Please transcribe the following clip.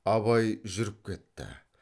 абай жүріп кетті